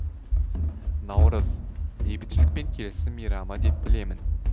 наурыз бейбітшілік пен келісім мейрамы деп білемін